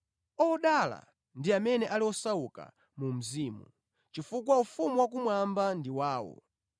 “Odala ndi amene ali osauka mu mzimu, chifukwa ufumu wakumwamba ndi wawo.